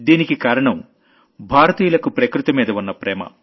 దీనికి కారణం భారతీయులకు ప్రకృతిమీద ఉన్న ప్రేమ